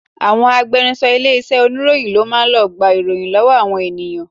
Àwọn agbẹnuṣọ ilé iṣẹ́ oníròyìn ló máa ń lọ gba ìròyìn lọ́wọ́ àwọn ènìyàn